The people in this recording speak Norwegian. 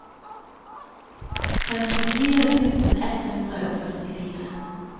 femtifire tusen ett hundre og førtifire